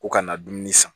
Ko kana na dumuni san